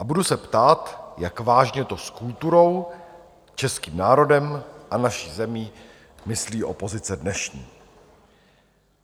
A budu se ptát, jak vážně to s kulturou, českým národem a naší zemí myslí opozice dnešní.